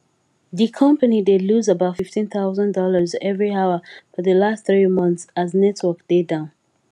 di company dey lose about fifteen thousand dollars every hour for di last three months as network dey down